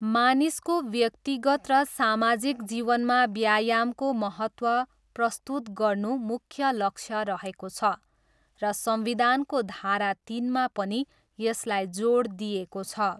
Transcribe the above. मानिसको व्यक्तिगत र सामाजिक जीवनमा व्यायामको महत्त्व प्रस्तुत गर्नु मुख्य लक्ष्य रहेको छ र संविधानको धारा तिनमा पनि यसलाई जोड दिइएको छ।